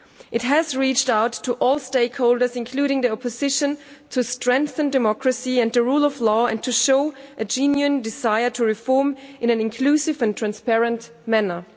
It has reached out to all stakeholders, including the opposition, to strengthen democracy and the rule of law and to show a genuine desire to reform in an inclusive and transparent manner.